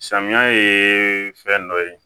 Samiya ye fɛn dɔ ye